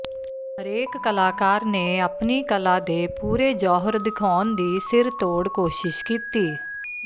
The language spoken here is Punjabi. ਹਰੇਕ ਕਲਾਕਾਰ ਨੇ ਆਪਣੀ ਕਲਾ ਦੇ ਪੂਰੇ ਜੌਹਰ ਦਿਖਾਉਣ ਦੀ ਸਿਰਤੋੜ ਕੋਸ਼ਿਸ਼ ਕੀਤੀ